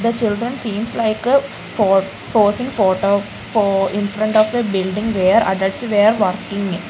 the children seems like uh for posing photo for infront of a building where adults were walking.